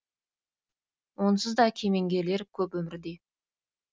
онсыз да кемеңгерлер көп өмірде